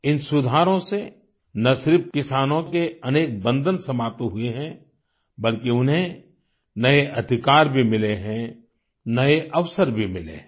इन सुधारों से न सिर्फ किसानों के अनेक बन्धन समाप्त हुये हैं बल्कि उन्हें नये अधिकार भी मिले हैं नये अवसर भी मिले हैं